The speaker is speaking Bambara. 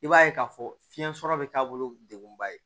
I b'a ye k'a fɔ fiɲɛ sɔrɔ bɛ taabolo degunba ye